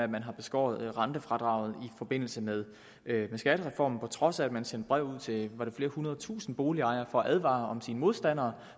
man har beskåret rentefradraget i forbindelse med skattereformen og på trods af at man sendte brev ud til flere hundredtusinde boligejere for at advare om sine modstandere